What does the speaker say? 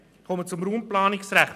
Ich komme zum Raumplanungsrecht.